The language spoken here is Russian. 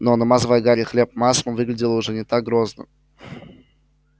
но намазывая гарри хлеб маслом выглядела уже не так грозно